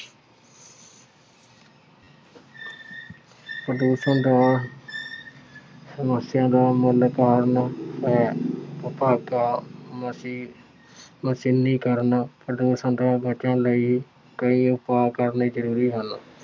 ਪ੍ਰਦੂਸ਼ਣ ਦਾ ਸਮੱਸਿਆ ਦਾ ਮੂਲ ਕਾਰਨ ਹੈ। ਮਸ਼ੀਨੀਕਰਨ ਪ੍ਰਦੂਸ਼ਣ ਤੋਂ ਬਚਣ ਲਈ ਕਈ ਉਪਾਉ ਕਰਨੇ ਜ਼ਰੂਰੀ ਹਨ।